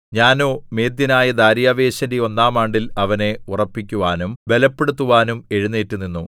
ഞാനോ മേദ്യനായ ദാര്യാവേശിന്റെ ഒന്നാം ആണ്ടിൽ അവനെ ഉറപ്പിക്കുവാനും ബലപ്പെടുത്തുവാനും എഴുന്നേറ്റ് നിന്നു